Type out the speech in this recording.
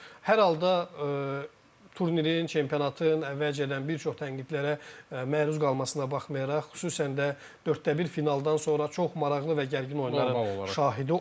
Hər halda turnirin, çempionatın əvvəlcədən bir çox tənqidlərə məruz qalmasına baxmayaraq, xüsusən də dörddə bir finaldan sonra çox maraqlı və gərgin oyunların şahidi olduq.